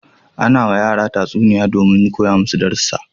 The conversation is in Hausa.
Ana yiwa yara tatsuniya domin koya masu darussa.